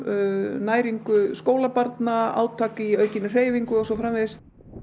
næringu skólabarna átak í aukinni hreyfingu og svo framvegis